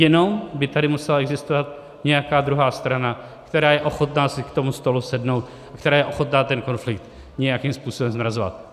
Jenom by tady musela existovat nějaká druhá strana, která je ochotná si k tomu stolu sednout, která je ochotná ten konflikt nějakým způsobem zmrazovat.